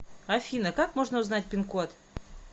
афина как можно узнать пин код